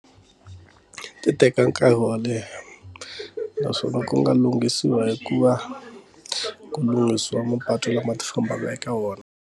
Ti teka nkarhi wo leha naswona ku nga lunghisiwa hi ku va ku lunghisiwa mapatu lama ti fambaka eka wona.